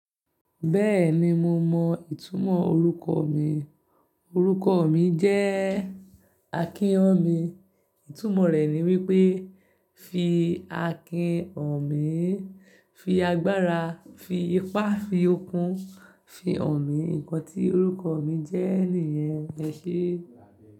Bẹ́ẹ̀ni mo mọ ìtumọ̀ orúkọ mi. Orúkọ mi jẹ́ Akin-Ọ̀mí. Ìtumọ̀ rẹ̀ ni wípé fi Akin Han mí, fi agbára, fi ipá, fi okun, fi hàn mí. Nǹkan tí orúkọ mi jẹ́ nìyẹn ẹ ṣé?